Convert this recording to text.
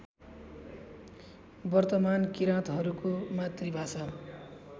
वर्तमान किराँतहरूको मातृभाषा